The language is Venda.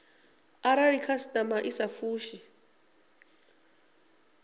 arali khasitama i sa fushi